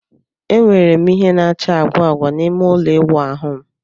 Enwere m ìhè na-acha agwa agwa n'ime ụlọ ịwụ ahu m.